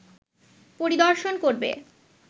পরিদর্শন করবে